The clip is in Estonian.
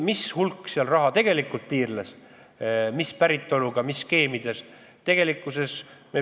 Missugune hulk raha seal tegelikult tiirles, mis päritoluga, mis skeemides?